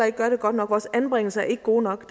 ikke gør det godt nok vores anbringelser er ikke gode nok